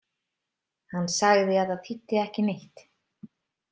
Hann sagði að það þýddi ekki neitt.